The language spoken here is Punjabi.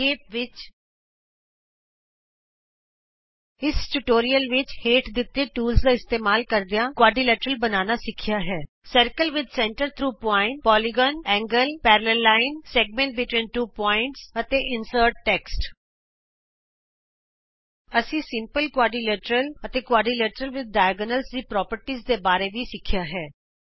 ਸੰਖੇਪ ਵਿਚ ਇਸ ਟਿਯੂਟੋਰਿਅਲ ਵਿਚ ਅਸੀਂ ਹੇਠ ਦਿਤੇ ਟੂਲਜ਼ ਦਾ ਇਸਤੇਮਾਲ ਕਰਦਿਆਂ ਚਤੁਰਭੁਜ ਬਣਾਉਣਾ ਸਿੱਖਿਆ ਹੈ circle with centre through point polygon ਕੋਣ ਸਮਾਂਤਰ ਲਾਈਨ ਦੋ ਬਿੰਦੂਆਂ ਵਿਚ ਵ੍ਰਤ ਖੰਡ ਅਤੇ ਟੈਕਸਟ ਇੰਸਰਟ ਕਰਨਾ ਅਸੀਂ ਸਧਾਰਣ ਚਤੁਰਭੁਜ ਅਤੇ ਵਿਕਰਣਾਂ ਦੇ ਨਾਲ ਨਾਲ ਚਤੁਰਭੁਜ ਦੇ ਗੁਣਾਂ ਬਾਰੇ ਵੀ ਸਿੱਖਿਆ ਹੈ